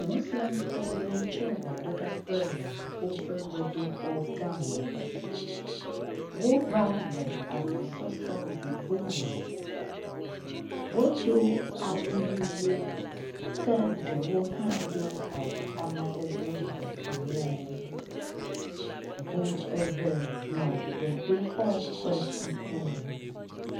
Moslemtɔwo tso gbedoɖaƒe le woƒe gbedoxɔ gã me. Wova le agbɔsɔsɔ blibo me. Wodo awu ʋiwo ke ɖewo hã do awu amadede vovovowo. Ŋu eve nɔ gbedoxɔ ƒe ŋkume.